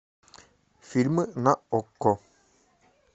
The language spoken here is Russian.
фильмы на окко